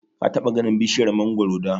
Ka taɓa ganin bishiyar mangoro da?